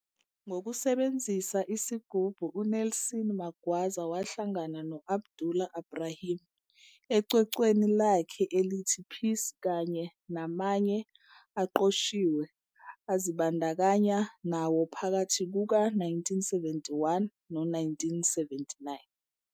Ngokusebenzisa isigubhu uNelson Magwaza wahlangana no-Abdullah Ibrahim, ecwecweni lakhe elithi Peace kanye namanye aqoshiwe azibandakanya nawo phakathi kuka-1971 no-1979.